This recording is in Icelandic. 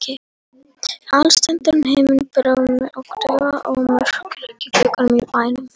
Alstirndur himinn, brimhljóð og daufur ómur frá kirkjuklukkunum í bænum.